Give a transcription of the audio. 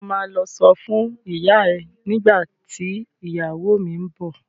Ṣo ma lọ sọ fún ìyá ẹ nígbà tí ìyàwó mi ń bọ̀?